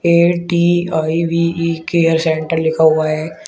A T I V E care centre लिखा हुआ है।